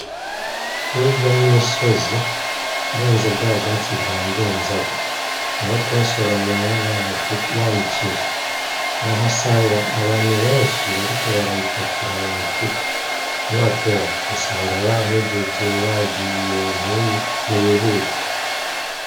Hirya y'imisozi, urenze bwa bwatsi bwa Ndenzako, niho twasoromeye ya miceri, urahasanga abantu benshi bariko barayipakira mu mifuko, ni wateba usanga bahejeje, bagiye. Ni wihute.